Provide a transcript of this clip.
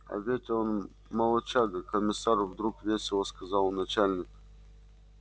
а ведь он молодчага комиссар вдруг весело сказал начальник